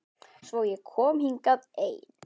Svo ég kom hingað ein.